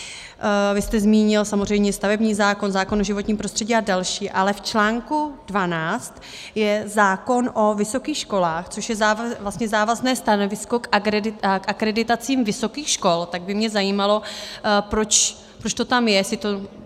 Vy jste zmínil samozřejmě stavební zákon, zákon o životním prostředí a další, ale v článku 12 je zákon o vysokých školách, což je vlastně závazné stanovisko k akreditacím vysokých škol, tak by mě zajímalo, proč to tam je.